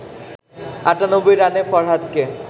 ৯৮ রানে ফরহাদকে